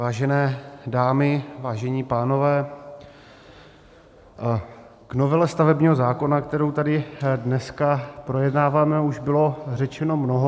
Vážené dámy, vážení pánové, k novele stavebního zákona, kterou tady dneska projednáváme, už bylo řečeno mnoho.